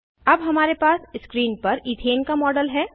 अब हमारे पास स्क्रीन पर इथेन का मॉडल है